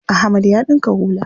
Ahmad ya ɗinka hula.